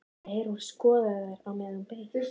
Eyrún skoðaði þær meðan hún beið.